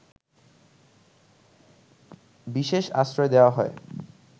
বিশেষ আশ্রয় দেওয়া হয়